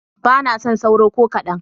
Ba na son sauro ko kaɗan.